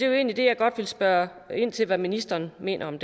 jo egentlig det jeg godt vil spørge ind til hvad ministeren mener om